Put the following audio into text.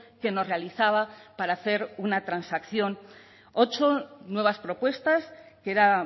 que nos realizaba para hacer una transacción ocho nuevas propuestas que era